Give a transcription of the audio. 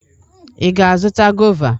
Ị ga-azụta gọva?